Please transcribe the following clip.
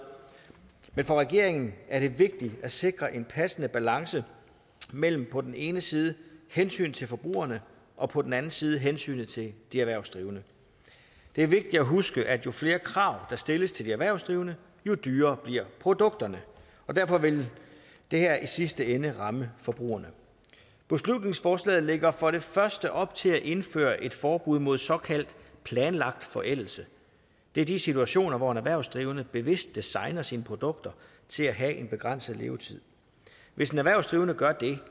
men for regeringen er det vigtigt at sikre en passende balance mellem på den ene side hensynet til forbrugerne og på den anden side hensynet til de erhvervsdrivende det er vigtigt at huske at jo flere krav der stilles til de erhvervsdrivende jo dyrere bliver produkterne og derfor vil det her i sidste ende ramme forbrugerne beslutningsforslaget lægger for det første op til at indføre et forbud mod såkaldt planlagt forældelse det er de situationer hvor en erhvervsdrivende bevidst designer sine produkter til at have en begrænset levetid hvis en erhvervsdrivende gør det